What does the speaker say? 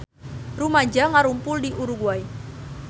Rumaja ngarumpul di Uruguay